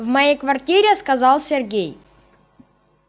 в моей квартире сказал сергей